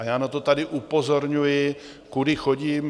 A já na to tady upozorňuji, kudy chodím.